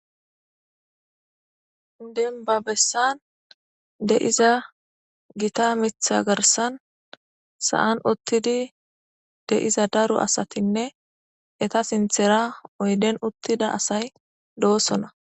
Deniba bessan deiza gita mitha garsan sa7an uttidi de'iza daru asatinne eta sinthera oyden uttida asay do'osona